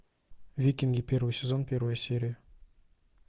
викинги первый сезон первая серия